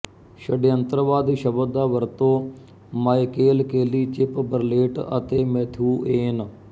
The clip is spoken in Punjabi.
ਸ਼ਡਿਅੰਤਰਵਾਦ ਸ਼ਬਦ ਦਾ ਵਰਤੋ ਮਾਇਕੇਲ ਕੇਲੀ ਚਿਪ ਬਰਲੇਟ ਅਤੇ ਮੈਥਿਊ ਏਨ